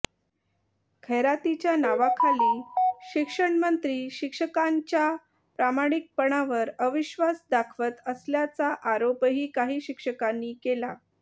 खैरातीच्या नावाखाली शिक्षणमंत्री शिक्षकांच्या प्रामाणिकपणावर अविश्वास दाखवत असल्याचा आरोपही काही शिक्षकांनी केला